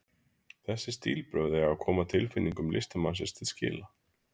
Þessi stílbrögð eiga að koma tilfinningum listamannsins til skila.